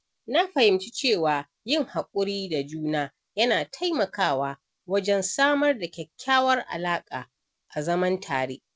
Na fahimci cewa yin haƙuri da juna yana taimakawa wajen samar da kyakkyawar alaƙa a zaman tare.